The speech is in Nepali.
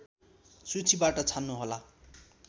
सूचीबाट छान्नुहोला